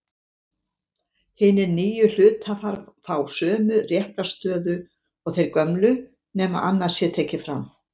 Hinir nýju hluthafar fá sömu réttarstöðu og þeir gömlu nema annað sé tekið fram.